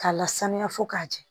K'a lasanuya fo k'a jɛ